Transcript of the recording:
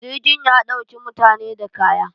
jirgin ya ɗauki mutane da kaya